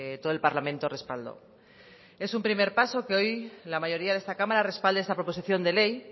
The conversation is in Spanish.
todo el parlamento respaldo es un primer paso que hoy la mayoría de esta cámara respalde esta proposición de ley